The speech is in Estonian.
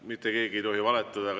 Mitte keegi ei tohi valetada.